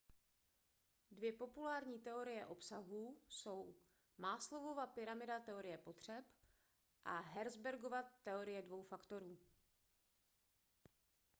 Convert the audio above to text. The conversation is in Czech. dvě populární teorie obsahu jsou maslowova pyramida teorie potřeb a herzbergova teorie dvou faktorů